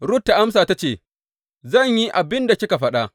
Rut ta amsa ta ce Zan yi abin da kika faɗa.